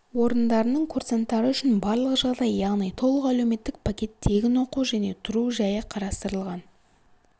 орындарының курсанттары үшін барлық жағдай яғни толық әлеуметтік пакет тегін оқу және тұру жайы қарастырылған